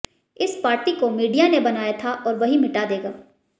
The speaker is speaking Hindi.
इस पार्टी को मीडिया ने बनाया था और वही मिटा देगा